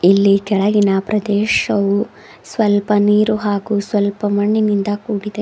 ಇಲ್ಲಿ ಕೆಳಗಿನ ಪ್ರದೇಶವು ಸ್ವಲ್ಪ ನೀರು ಹಾಗೂ ಸ್ವಲ್ಪ ಮಣ್ಣಿನಿಂದ ಕೂಡಿದೆ.